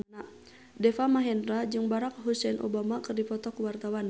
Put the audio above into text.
Deva Mahendra jeung Barack Hussein Obama keur dipoto ku wartawan